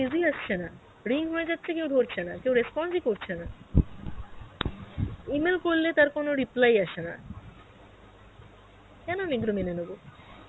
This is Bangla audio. busy আসছে না, ring হয়ে যাচ্ছে কেউ ধরছে না কেউ response ই করছে না, E-mail করলে তার কোনো reply আসে না, কেন আমি এইগুলো মেনে নোবো?